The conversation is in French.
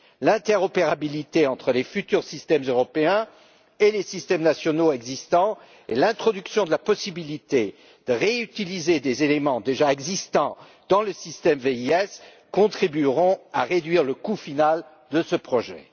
L'interopérabilité entre les futurs systèmes européens et les systèmes nationaux existants et l'introduction de la possibilité de réutiliser des éléments déjà existants dans le système VIS contribueront à réduire le coût final de ce projet.